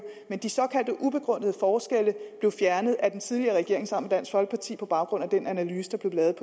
men de såkaldte ubegrundede forskelle blev fjernet af den tidligere regering sammen med dansk folkeparti på baggrund af den analyse der blev lavet